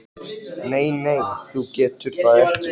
En mér er ekki eins leitt og ég læt.